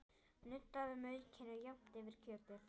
Nuddaðu maukinu jafnt yfir kjötið.